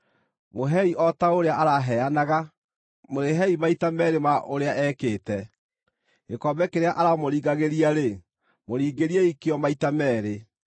Mũheei o ta ũrĩa araheanaga; mũrĩhei maita meerĩ ma ũrĩa ekĩte. Gĩkombe kĩrĩa aramũringagĩria-rĩ, mũringĩriei kĩo maita meerĩ.